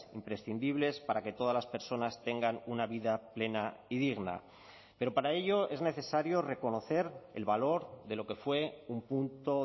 imprescindibles para que todas las personas tengan una vida plena y digna pero para ello es necesario reconocer el valor de lo que fue un punto